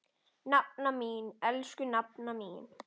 Nafna mín, elsku nafna mín.